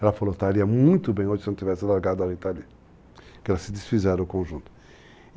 Ela falou, estaria muito bem hoje se não tivesse largado a Rita Lee, porque elas se desfizeram o conjunto.